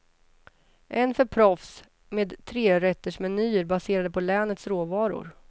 En för proffs, med trerättersmenyer baserade på länets råvaror.